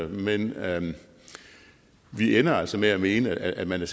men vi ender altså med at mene at man